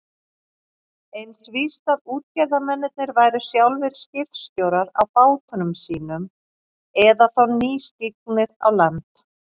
Eins víst að útgerðarmennirnir væru sjálfir skipstjórar á bátum sínum eða þá nýstignir á land.